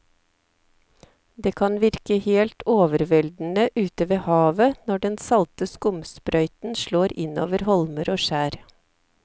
Det kan virke helt overveldende ute ved havet når den salte skumsprøyten slår innover holmer og skjær.